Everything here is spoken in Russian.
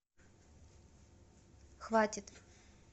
хватит